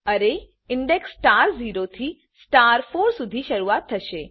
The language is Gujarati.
અરે ઇન્ડેક્સ સ્ટાર 0 થી સ્ટાર 4 સુધી શુરુઆત થશે